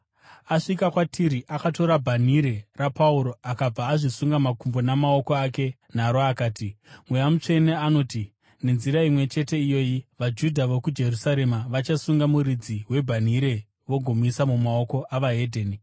Asvika kwatiri, akatora bhanhire raPauro, akabva azvisunga makumbo namaoko ake naro akati, “Mweya Mutsvene anoti, ‘Nenzira imwe chete iyoyi, vaJudha vokuJerusarema vachasunga muridzi webhanhire vagomuisa mumaoko eveDzimwe Ndudzi.’ ”